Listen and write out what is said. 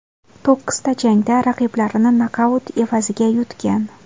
To‘qqizta jangda raqiblarini nokaut evaziga yutgan.